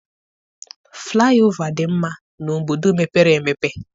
Flaị ova dị mma n'obodo mepere emepe.